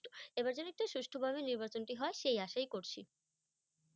এইবার যেন একটু সুষ্ঠভাবে নির্বাচনটি হয় সেই আশাই করছি।